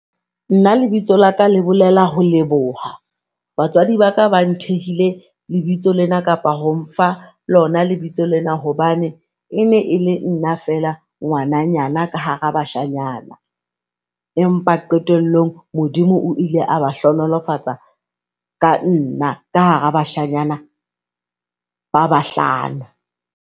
Nna lebitso laka le bolela ho leboha, batswadi ba ka ba nthehile lebitso lena kapa ho nfa lona lebitso lena hobane e ne e le nna fela ngwananyana ka hara bashanyana. Empa qetelllong Modimo o ile a ba hlohonolofatsa ka nna ka hara bashanyana ba bahlano.